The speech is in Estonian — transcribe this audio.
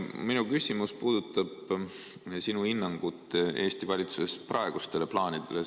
Minu küsimus puudutab sinu hinnangut Eesti valitsuse praegustele plaanidele.